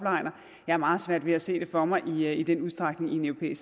jeg har meget svært ved at se det for mig i den udstrækning i